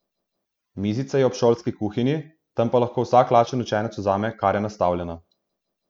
Mizica je ob šolski kuhinji, tam pa lahko vsak lačen učenec vzame, kar je nastavljeno.